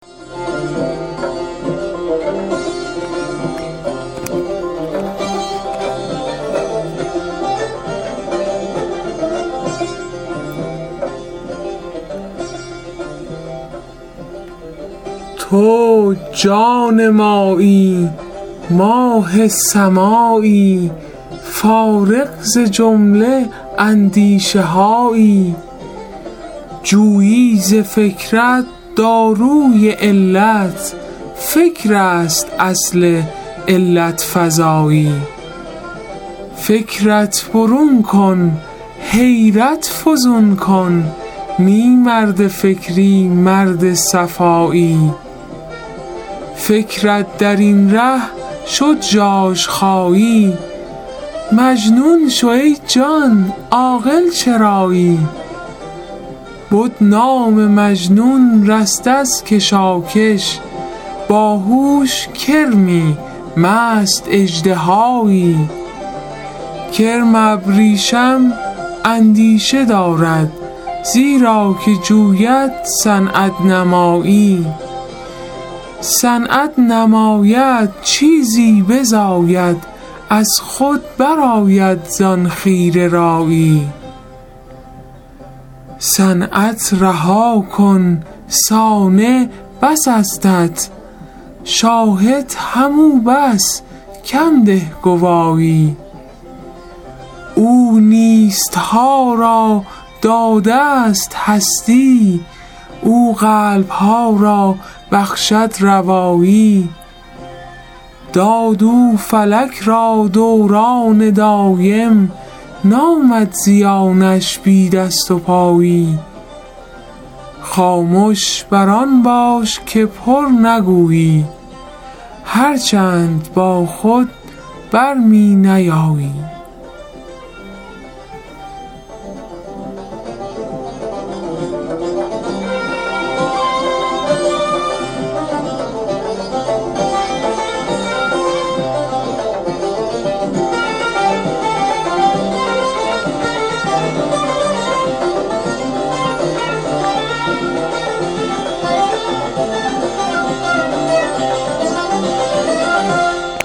تو جان مایی ماه سمایی فارغ ز جمله اندیشهایی جویی ز فکرت داروی علت فکرست اصل علت فزایی فکرت برون کن حیرت فزون کن نی مرد فکری مرد صفایی فکرت درین ره شد ژاژ خایی مجنون شو ای جان عاقل چرایی بد نام مجنون رست از کشاکش باهوش کرمی مست اژدهایی کرم بریشم اندیشه دارد زیرا که جوید صنعت نمایی صنعت نماید چیزی بزاید از خود برآید زان خیره رایی صنعت رها کن صانع بس استت شاهد همو بس کم ده گوایی او نیستها را دادست هستی او قلبها را بخشد روایی داد او فلک را دوران دایم نامد زیانش بی دست و پایی خامش برآن باش که پر نگویی هرچند با خود بر می نیایی